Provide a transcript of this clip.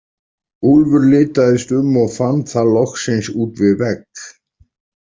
Úlfur litaðist um og fann það loksins út við vegg.